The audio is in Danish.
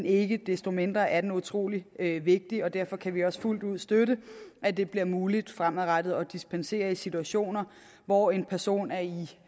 ikke desto mindre er den utrolig vigtig og derfor kan vi også fuldt ud støtte at det bliver muligt fremadrettet at dispensere i situationer hvor en person er i